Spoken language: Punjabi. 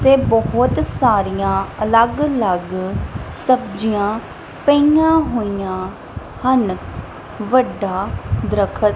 ਤੇ ਬਹੁਤ ਸਾਰੀਆਂ ਅਲੱਗ ਅਲੱਗ ਸਬਜ਼ੀਆਂ ਪਈਆਂ ਹੋਈਆਂ ਹਨ ਵੱਡਾ ਦਰਖਤ--